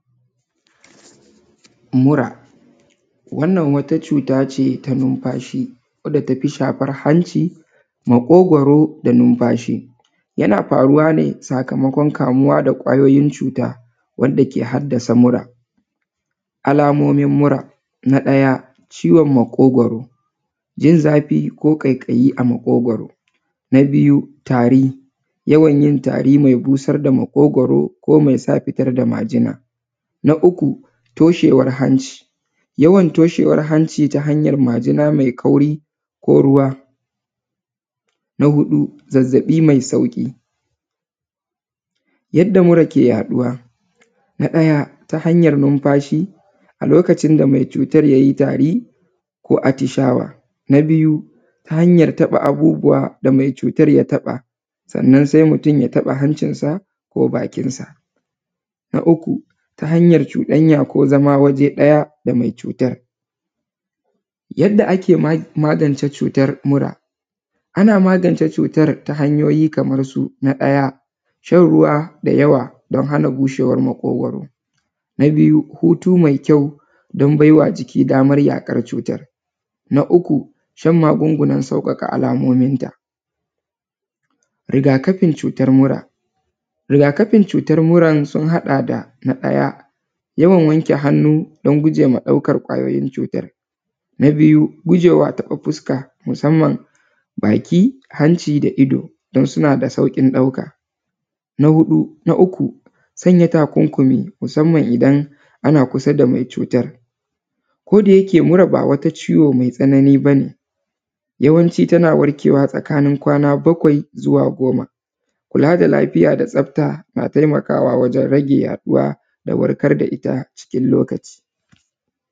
Mura. Wannan wata cuta ce ta numfashi wadda ta fi shafar hanci, maƙogwaro da numfashi. Yana faruwa ne sakamakon kamuwa da ƙwayoyin cuta wanda ke haddasa mura. Alamomin mura: na ɗaya, ciwon makogwaro:- jin zafi ko ƙaiƙayi a maƙogwaro. Na biyu, tari:- yawan yin tari mai busar da maƙogwaro ko mai sa fitar da majina. Na uku, toshewar hanci:- yawan toshewar hanci ta hanyar majina mai kauri ko ruwa. Na huɗu, zazzaɓi mai sauƙi. Yadda mura ke yaɗuwa: na ɗaya, ta hanyar numfashi a lokacin da mai cutar ya yi tari ko atishawa. Na biyu, ta hanyar taɓa abubuwa da mai cutar ya taɓa, sannan sai mutum ya taɓa hancinsa ko bakinsa. Na uku, ta hanyar cuɗanya ko zama waje ɗaya da mai cutar. Yadda ake magance cutar mura: ana magance cutar ta hanyoyi kamar su: na ɗaya, shan ruwa da yawa don hana bushwar maƙogwaro. Na biyu, hutu mai kyau don bai wa jiki damar yaƙar cutar. Na uku, shan magungunan sauƙaƙa alamominta. Riga-kafin cutar mura: riga-kafin cutar muran sun haɗa da: na ɗaya, yawan wanke hannu don guje ma ɗaukar ƙwayoyin cutar. Na biyu, guje wa taɓa fuska musamman baki, hanci da ido don suna da sauƙin ɗauka. Na huɗu, na uku, sanya takunkumi musamman idan ana kusa da mai cutar. Ko da yake mura ba wata ciwo mai tsanani ba ne, yawanci tana warkewa tsakanin kwana bakwai zuwa goma. Kula da lafiya da tsafta na taimakawa wajen rage yaɗuwa da warkar da ita cikin lokaci.